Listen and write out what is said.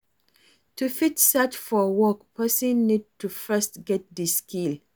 to fit search for work person need to first get di skill